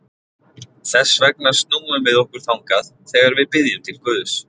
Þess vegna snúum við okkur þangað þegar við biðjum til Guðs.